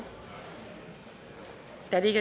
da det